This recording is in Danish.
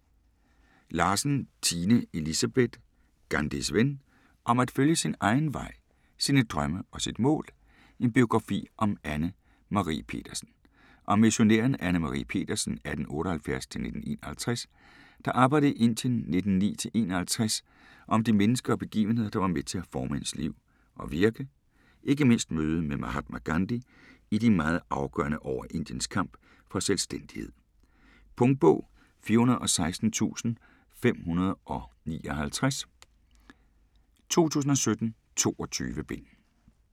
Larsen, Tine Elisabeth: Gandhis ven: om at følge sin egen vej, sine drømme og sit mål: en biografi om Anne Marie Petersen Om missionæren Anne Marie Petersen (1878-1951), der arbejdede i Indien 1909-1951 og om de mennesker og begivenheder der var med til at forme hendes liv og virke, ikke mindst mødet med Mahatma Gandhi i de meget afgørende år af Indiens kamp for selvstændighed. Punktbog 416559 2017. 22 bind.